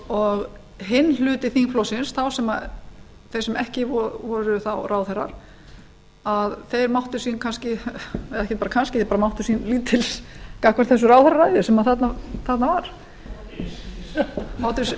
og hinn hluti þingflokksins þeir sem ekki voru þá ráðherrar máttu sín lítils gagnvart þessu ráðherraræði sem þarna var máttu sín einskis máttu sín